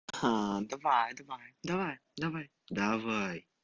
ха давай давай давай давай давай